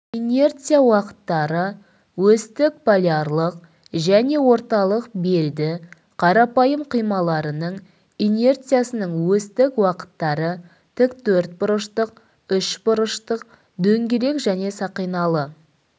инерция уақыттары осьтік полярлық және орталық белді қарапайым қималарының инерциясының осьтік уақыттары тікбұрыштық үшбұрыштық дөңгелек және сақиналы